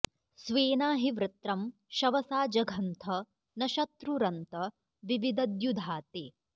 स्वेना॒ हि वृ॒त्रं शव॑सा ज॒घन्थ॒ न शत्रु॒रन्तं॑ विविदद्यु॒धा ते॑